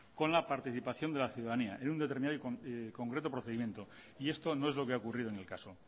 con la participación de la ciudadanía en un determinado y concreto procedimiento y esto no es lo que ha ocurrido en el caso